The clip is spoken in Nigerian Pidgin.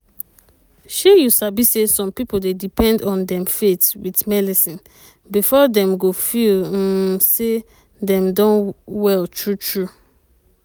shey you sabi say some pipo dey depend on dem faith with melecine before dem go feel hmmm say dem don well true true.